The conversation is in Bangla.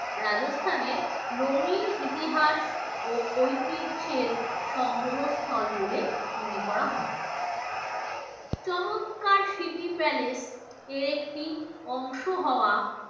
রাজস্থানের রঙিন ইতিহাস ও ঐতিহ্যের সংগ্রহ স্থল বলে মনে করা হয় চমৎকার স্মৃতি palace এর একটি অংশ হাওয়া